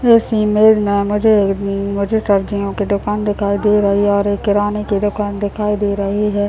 इस इमेज में ना मुझे मुझे सब्जियों के दुकान दिखाई दे रही है और एक किराने की दुकान दिखाई दे रही है ।